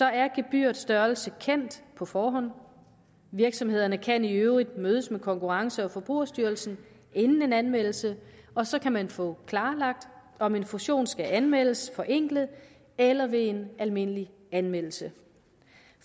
er gebyrets størrelse kendt på forhånd virksomhederne kan i øvrigt mødes med konkurrence og forbrugerstyrelsen inden en anmeldelse og så kan man få klarlagt om en fusion skal anmeldes forenklet eller ved en almindelig anmeldelse